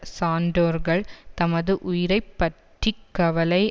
சான்றோர்கள் தமது உயிரை பற்றி கவலை